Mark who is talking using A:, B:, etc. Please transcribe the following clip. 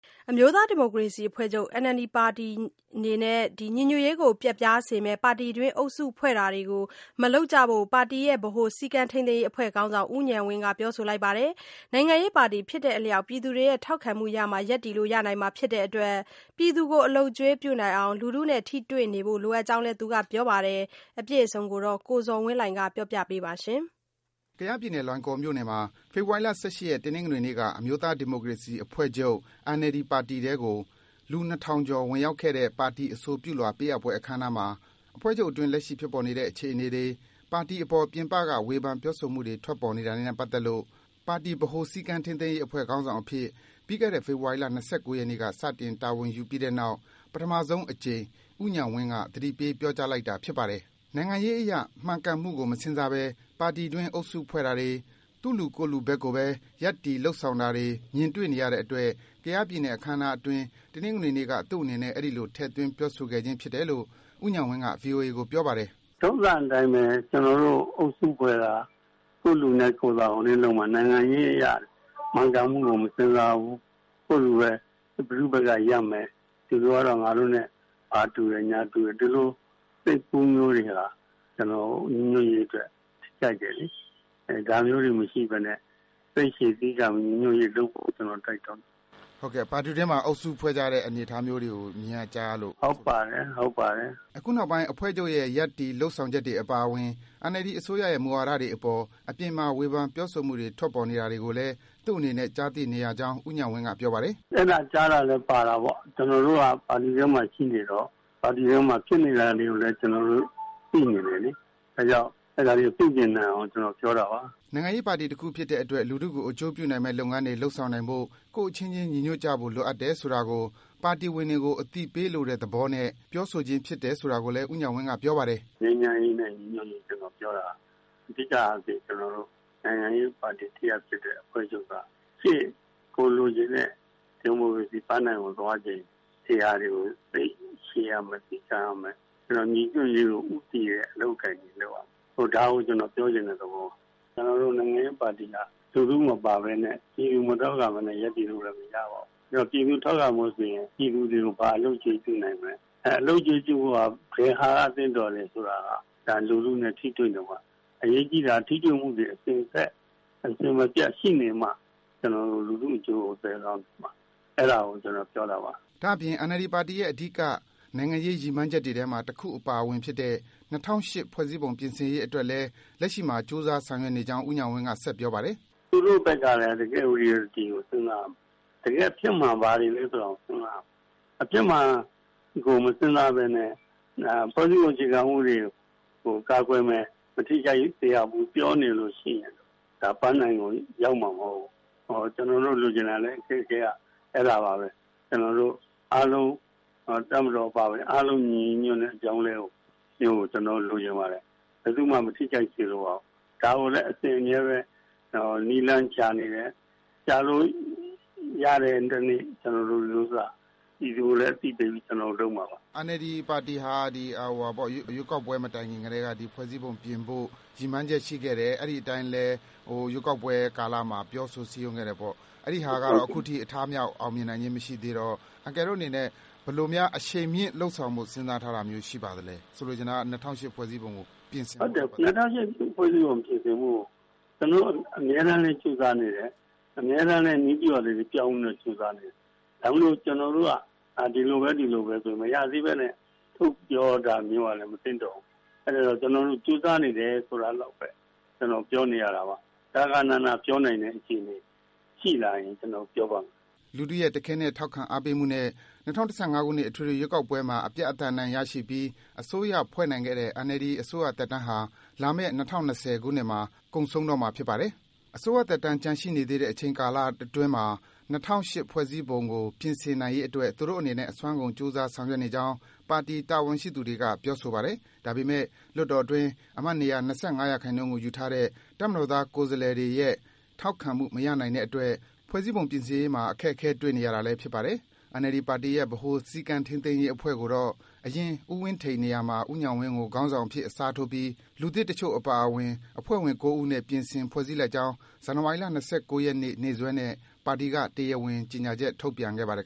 A: အမျိုးသားဒီမိုကရေစီအဖွဲ့ချုပ် ပါတီဝင်တွေနဲ့ ညီညွတ်ရေးကို ပျက်ပြားစေမယ့် ပါတီတွင်း အုပ်စုဖွဲ့တာတွေ မလုပ်ကြဖို့ ပါတီရဲ့ ဗဟိုစည်းကမ်းထိန်းသိမ်းရေးအဖွဲ့ခေါင်းဆောင် ဦးဉာဏ်ဝင်းက ပြောကြားလိုက်ပါတယ်။ နိုင်ငံရေးပါတီဖြစ်တဲ့အလျှောက် ပြည်သူရဲ့ ထောက်ခံမှုရမှ ရပ်တည်လို့ ရနိုင်မှာဖြစ်တဲ့အတွက် ပြည်သူကို အလုပ်ကျွေးပြုနိုင်အောင် လူထုနဲ့ ထိတွေ့နေဖို့ လိုအပ်ကြောင်းလည်း သူက ပြောပါတယ်။ အပြည့်အစုံကိုတော့ ကိုဇော်ဝင်းလှိုင်က တင်ပြပေးပါမယ်။
B: ကယားပြည်နယ်၊ လွိုင်လင်လေးမြို့မှာ ဖေဖော်ဝါရီလ ၁၈ ရက်၊ တနင်္ဂနွေနေ့က အမျိုးသား ဒီမိုကရေစီအဖွဲ့ချုပ်ပါတီ ထဲကို လူ ၂,၀၀၀ ကျော် ဝင်ရောက်တဲ့ ပါတီအဆိုပြုလွှာပေးအပ်ပွဲ အခမ်းအနားမှာ အဖွဲ့ချုပ်အတွင်း လက်ရှိဖြစ်ပေါ်နေတဲ့ အခြေအနေတွေ၊ ပါတီအပေါ် ပြင်ပက ဝေဖန် ပြောဆိုမှုတွေ ထွက်ပေါ်နေတာတွေနဲ့ ပတ်သက်လို့ ပါတီဗဟိုစည်းကမ်းထိန်းသိမ်းရေး အဖွဲ့ခေါင်းဆောင်အဖြစ် ပြီးခဲ့တဲ့ ဇန်နဝါရီလ ၂၉ ရက်နေ့က စတင် တာဝန်ယူပြီးတဲ့နောက် ပထမဆုံးအကြိမ်အဖြစ် ဦးဉာဏ်ဝင်းက သတိပေး ပြောကြားလိုက်တာ ဖြစ်ပါတယ်။ နိုင်ငံရေးအရ မှန်ကန်မှုကို မစဉ်စားဘဲ ပါတီအတွင်း အုပ်စုဖွဲ့တာတွေ၊ သူ့လူ ကိုယ့်လူကိုဘက်ကိုဘဲ ရပ်တည် လုပ်ဆောင်နေတာတွေ တွေ့မြင်နေရတဲ့အတွက် ကယားပြည်နယ် အခမ်းအနားအတွင်း တနင်္ဂနွေနေ့က သူ့အနေနဲ့ အဲဒီလို ထည့်သွင်း ပြောဆိုခဲ့ခြင်း ဖြစ်တယ်လို့ ဦးဉာဏ်ဝင်းက ဗွီအိုအေကို ပြောပါတယ်
A: ။ “ထုံးစံအတိုင်းဘဲ ကျနော်တို့ အုပ်စုဖွဲ့တာ၊ သူ့လူနဲ့ကိုယ့်လူ၊ နိုင်ငံရေးအရ မှန်ကန်မှုကို မစဉ်းစားဘူး၊ ကိုယ့်လူဘဲ ဘယ်သူ့ဘက်က ရပ်မယ်၊ သူတို့ကတော့ ငါတို့နဲ့ ဘာတူတယ်၊ ညာတူတယ် ဒီလို စိတ်ကူးမျိုးတွေဟာ ကျနော်တို့ ညီညွတ်ရေးအတွက် ထိခိုက်တယ်လေ။ အဲ ဒါမျိုးတွေ မရှိဘဲနဲ့ စိတ်ရှည်သည်းခံပြီး ညီညွတ်ရေးလုပ်ဖို့ ကျနော် တိုက်တွန်းတာ။
B: ” ဟုတ်ကဲ့၊ ပါတီတွင်းမှာ အုပ်စုဖွဲ့ကြတဲ့ အနေအထားမျိုးတွေကို မြင်ရ၊ ကြားရလို့လား။ “ဟုတ်ပါတယ်၊ ဟုတ်ပါတယ်။” အခုနောက်ပိုင်း အဖွဲ့ချုပ်ရဲ့ ရပ်တည်၊ လုပ်ဆောင်ချက်တွေ အပါအဝင် NLD အစိုးရရဲ့ မူဝါဒတွေအပေါ် အပြင်မှာ ဝေဖန် ပြောဆိုမှုတွေ ထွက်ပေါ် နေတာတွေကိုလည်း သူ့အနေနဲ့ ကြားသိနေရကြောင်း ဦးဉာဏ်ဝင်းက ပြောပါတယ်။
A: “အဲဒါ ကြားတာလည်း ပါတာပေါ့။ ကျနော်တို့က ပါတီထဲမှာ ရှိနေတော့ ပါတီတွင်းမှာ ဖြစ်နေတာတွေကိုလည်း ကျနော်တို့ သိနေတယ်လေ။ ဒါ့ကြောင့် အဲဒါတွေကို ပြုပြင်နိုင်အောင် ကျနော် ပြောတာပါ။
B: ” နိုင်ငံရေးပါတီတခုဖြစ်တဲ့အတွက် လူထုကို အကျိုးပြုနိုင်မယ့် လုပ်ငန်းတွေ လုပ်ဆောင်နိုင်ဖို့ ကိုယ့်အချင်းချင်း ညီညွတ်ဖို့ လိုအပ်တယ် ဆိုတာကို ပါတီဝင်တွေကို အသိပေးလိုတဲ့သဘောနဲ့ ပြောဆိုခြင်းဖြစ်တယ် ဆိုတာကိုလည်း ဦးဉာဏ်ဝင်းက ပြောပါတယ်။ “ငြိမ်းချမ်းရေးန
A: ဲ့ ညီညွတ်ရေး ကျနော်ပြောတာ အဓိကအားဖြင့် ကျနော်တို့ နိုင်ငံရေးပါတီတရပ်ဖြစ်တဲ့ ကျနော်တို့ အဖွဲ့ချုပ်က ရှေ့ ကိုယ်လိုချင်တဲ့ ဒီမိုကရေစီပန်းတိုင်ကို သွားချိန် ဒီဟာတွေကို စိတ်ရှည်ရမယ်၊ သည်းခံရမယ်၊ ညီညွတ်ရေးကို ဦးတည်တဲ့ အလုပ်အကိုင်တွေ လုပ်ရမယ်။ ဒါကို ကျနော်ပြောချင်တဲ့ သဘောပါ။ ကျနော်တို့ နိုင်ငံရေးပါတီက လူထုမပါဘဲနဲ့၊ ပြည်သူမထောက်ခံဘဲနဲ့ ရပ်တည်လို့လည်း မရပါဘူး။ အဲဒီတော့ ပြည်သူ ထောက်ခံဖို့ဆိုရင် ပြည်သူတွေကို ဘာအလုပ်အကျွေး ပြုနိုင်မလဲ၊ အဲ အလုပ်အကျွေးပြုဖို့က ဘယ်ဟာက သင့်တော်တယ်ဆိုတာက ဒါ လူထုနဲ့ ထိတွေ့နေမှ။ အရေးကြီးတာက ထိတွေ့မှုတွေ အစင်အဆက်၊ အစဉ်မပြတ် ရှိနေမှ ကျနော်တို့ လူထုအကျိုးကို သယ်ဆောင်နိုင်မှာ။ အဲဒါကို ကျနော် ပြောတာပါ။
B: ” ဒါ့အပြင် NLD ပါတီရဲ့ အဓိက နိုင်ငံရေးရည်မှန်းချက်တွေထဲမှာ တခုအပါအဝင်ဖြစ်တဲ့ ၂၀၀၈ ဖွဲ့စည်းပုံ ပြင်ဆင်ရေးအတွက်လည်း လက်ရှိမှာ ကြိုးစားဆောင်ရွက်နေကြောင်း ဦးဉာဏ်ဝင်းက ဆက်ပြောပါတယ်
A: ။ “သူတို့ ဘက်ကလည်း တကယ် Reality ကို စဉ်းစားရမယ်။ တကယ့်အဖြစ်မှန် ဘာတွေလဲ ဆိုတာကို စဉ်းစားရမယ်။ အဖြစ်မှန်ကို မစဉ်းစားဘဲနဲ့ ဖွဲ့စည်းပုံအခြေခံဥပဒေကို ကာကွယ်မယ်၊ မထိခိုက်စေရဘူး ပြောနေလို့ရှိရင် ဒါ ပန်းတိုင်ကို ရောက်မှာမဟုတ်ဘူး။ ကျနော်တို့ လိုချင်တာလဲ အခက်အခဲက အဲဒါဘာဘဲ။ ကျနော်တို့ အာလုံး၊ တပ်မတော်အပါအဝင် အားလုံး ညီညီညွတ်ညွတ်နဲ့ အပြောင်းအလဲမျိုးကို ကျနော်တို့ လိုချင်ပါတယ်။ ဘယ်သူ့မှ မထိခိုက်စေလိုပါဘူး။ ဒါကိုလဲ အစဉ်အမြဲဘဲ နည်းလမ်းရှာနေတယ်။ ရှာလို့ရတဲ့တနေ့ ကျနော်တို့ ဒီဥစ္စာ ပြည်သူကိုလည်း အသိပေးပြီး ကျနော်တို့ လုပ်မှာပါ
B: ။” NLD ပါတီဟာ ရွေးကောက်ပွဲမတိုင်ခင်ကတည်းက ဒီ ဖွဲ့စည်းပုံပြင်ဖို့ ရည်မှန်းချက်ရှိခဲ့တယ်။ အဲဒီအတိုင်းလဲ ရွေးကောက်ပွဲ ကာလမှာ ပြောဆို စည်းရုံးခဲ့တယ်ပေါ့။ အဲဒီဟာကတော့ အထမြောက်၊ အောင်မြင်နိုင်ခြင်း မရှိသေးတော့ အန်ကယ်တို့အနေနဲ့ ဘယ်လိုများ အရှိန်မြင့် လုပ်ဆောင်ဖို့ စဉ်းစားထားမျိုး ရှိပါသလဲ။ ဆိုလိုချင်တာက ၂၀၀၈ ဖွဲ့စည်းပုံကို ပြင်ဆင်ဖို့။ “၂
A: ၀၀၈ ဖွဲ့စည်းပုံ ပြင်ဆင်ဖို့ကို ကျနော်တို့ အမြဲတမ်းလည်း ကြိုးစားနေတယ်၊ အမြဲတမ်းလည်း နည်းဗြူဟာတွေ ပြောင်းလဲပြီးတော့ ကြိုးစားနေတယ်။ ဒါပေမယ့်လို့ ကျနော်တို့က ဒီလိုဘဲ၊ ဒီလိုဘဲဆိုပြီး မရသေးဘဲနဲ့ ထုတ်ပြောတာမျိုးကလည်း မသင့်တော်ဘူး။ အဲဒီတော့ ကျနော်တို့ ကြိုးစားနေတယ် ဆိုတာလောက်ဘဲ ကျနော် ပြောနေရတာပါ။ ဂဃဏန ပြောနိုင်တဲ့ အခြေအနေ ရှိလာရင် ကျနော်တို့ ပြောပါ့မယ်။
B: ” လူထုရဲ့ တခဲနက် ထောက်ခံအားပေးမှုနဲ့ ၂၀၁၅ ခုနှစ် အထွေထွေရွေးကောက်ပွဲမှာ အပြတ်အသတ် အနိုင်ရရှိပြီး အစိုးရဖွဲ့နိုင်ခဲ့တဲ့ NLD အစိုးသက်တမ်းဟာ လာမယ့် ၂၀၂၀ ခုနှစ်မှာ ကုန်ဆုံးတော့မှာ ဖြစ်ပါတယ်။ အစိုးရသက်တမ်း ကျန်နေသေးတဲ့ အချိန်ကာလအတွင်း ၂၀၀၈ ဖွဲ့စည်းပုံကို ပြင်ဆင်နိုင်ရေးအတွက် သူတို့အနေနဲ့ အစွမ်းကုန် ကြိုးစား ဆောင်ရွက်နေကြောင်း ပါတီ တာဝန်ရှိသူတွေက ပြောဆိုပါတယ်။ ဒါပေမယ့် လွှတ်တော်အတွင်း အမတ်နေရာ ၂၅% ကိုယူထားတဲ့ တပ်မတော်သား ကိုယ်စားလှယ်တွေရဲ့ ထောက်ခံမှု မရနိုင်တဲ့အတွက် ဖွဲ့စည်းပုံ ပြင်ဆင်ရေးမှာ အခက်အခဲ တွေ့နေရတာလည်း ဖြစ်ပါတယ်။ NLD ပါတီရဲ့ ဗဟိုစည်းကမ်းထိန်းသိမ်းရေးအဖွဲ့ကိုတော့ အရင် ဦးဝင်းထိန်နေရာမှာ ဦးဉာဏ်ဝင်းကို ခေါင်းဆောင်အဖြစ် အစားထိုးပြီး လူသစ်တချို့အပါအဝင် အဖွဲ့ဝင် ၉ ဦးနဲ့ ပြင်ဆင် ဖွဲ့စည်းလိုက်ကြောင်း ဇန်နဝါရီလ ၂၉ ရက်နေ့ နေ့စွဲနဲ့ ပါတီက တရားဝင် ကြေညာချက် ထုတ်ပြန်ခဲ့ပါတယ်